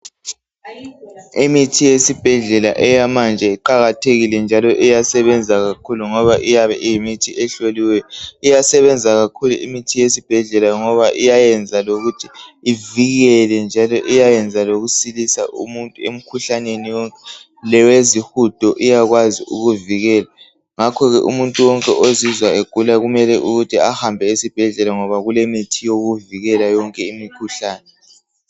Imithi eyesibhedlela eyamanje iqakathekile ngoba iyasebenza kakhuku ngoba iyabe iyimithi ehloliweyo . Iyayenza lokuthi ivikele njalo lokusilisa umuntu emikhuhlaneni yonke engagoqela isihudo . Ngakho umuntu wonke ezizwa egula kufanele ehambe esibhedlela ayethola umuthi ongamsilisa.